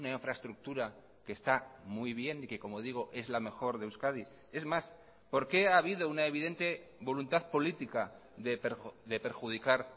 infraestructura que está muy bien y que como digo es la mejor de euskadi es más por qué ha habido una evidente voluntad política de perjudicar